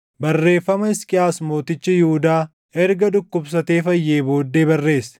Barreeffama Hisqiyaas mootichi Yihuudaa erga dhukkubsatee fayyee booddee barreesse: